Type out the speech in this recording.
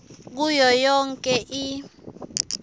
kuyo yonkhe i